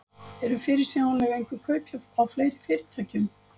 Eru fyrirsjáanleg einhver kaup á fleiri fyrirtækjum?